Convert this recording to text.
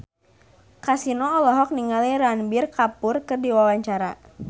Kasino olohok ningali Ranbir Kapoor keur diwawancara